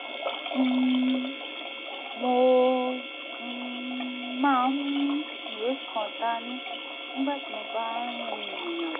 um mo um máa ń mú ìwé kan dání nígbà tí mo bá ń rìnrìn àjò